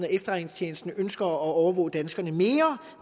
at efterretningstjenesten ønsker at overvåge danskerne mere